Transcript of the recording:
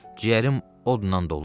Ciyərim odla dolu.